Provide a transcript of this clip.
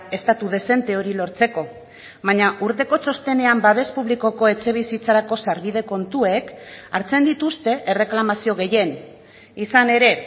estatu dezente hori lortzeko baina urteko txostenean babes publikoko etxebizitzarako sarbide kontuek hartzen dituzte erreklamazio gehien izan ere